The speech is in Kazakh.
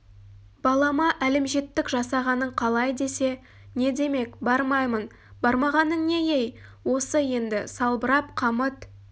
балама әлімжеттік жасағаның қалай десе не демек бармаймын бармағаның не ей осы енді салбырап қамыт